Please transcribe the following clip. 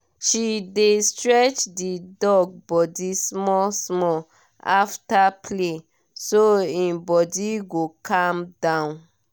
she dey stretch the dog body small-small after play so e body go calm down